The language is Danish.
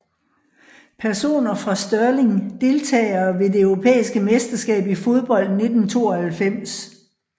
Personer fra Stirling Deltagere ved det europæiske mesterskab i fodbold 1992